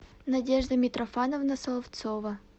надежда митрофановна соловцова